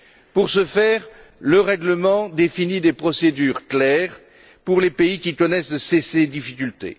Pour ce faire, le règlement définit des procédures claires pour les pays qui connaissent ces difficultés.